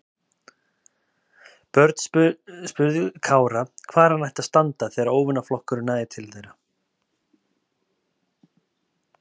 Björn spurði Kára hvar hann ætti að standa þegar óvinaflokkurinn næði til þeirra.